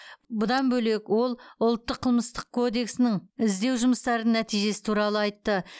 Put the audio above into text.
бұдан бөлек ол ұлттық қылмыстық кодексінің іздеу жұмыстарының нәтижесі туралы айтты